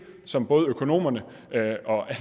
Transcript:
som både økonomerne og alle